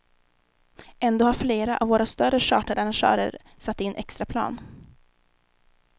Ändå har flera av våra större charterarrangörer satt in extraplan.